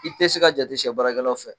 I tɛ se ka jate sɛ barakɛlaw fɛ